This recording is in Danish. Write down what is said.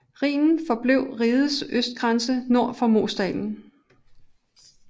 Rhinen forblev rigets østgrænse nord for Moseldalen